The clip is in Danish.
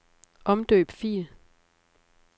Omdøb fil.